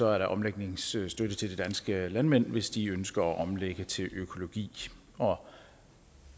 er der omlægningsstøtte til de danske landmænd hvis de ønsker at omlægge til økologi og